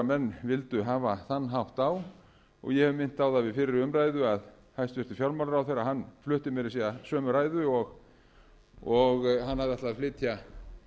menn vildu hafa þann hátt á og ég hef minnt á það við fyrri umræðu að hæstvirtur fjármálaráðherra flutti meira að segja sömu ræðu og hann hafði ætlað að